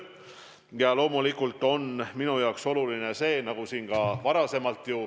Ja loomulikult on minu jaoks oluline, et Eesti inimestel ikka tööd ja leiba oleks.